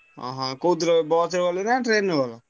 ହଁ କୋଉଥିରେ ବସରେ ଗଲ ନା ଟ୍ରେନ ରେ ଗଲ?